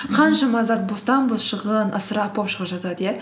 қаншама зат бостан бос шығын ысырап болып шығып жатады иә